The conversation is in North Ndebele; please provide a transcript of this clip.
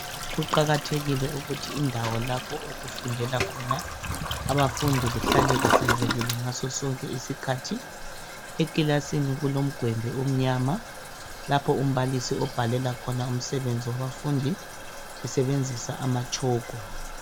Kuqakathekile ukuthi indawo lapho okufundela khona abafundi kuhlale kuhlanzekile ngaso sonke isikhathi. Ekilasini kulomgwembe omnyama lapho umbalisi obhalela khona umsebenzi wabafundi esebenzisa amatshoko.